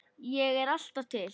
Ég er alltaf til.